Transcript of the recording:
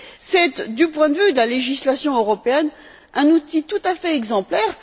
C'est, du point de vue de la législation européenne un outil tout à fait exemplaire.